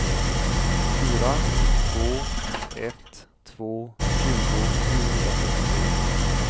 fyra två ett två tjugo sjuhundratrettiotre